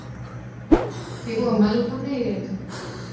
એવું અમારે લોકો ને નથી રેહતું